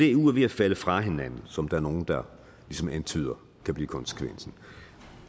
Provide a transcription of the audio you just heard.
eu er ved at falde fra hinanden som der er nogle der ligesom antyder kan blive konsekvensen